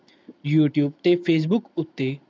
youtube ਤੇ facebook ਉਤੇ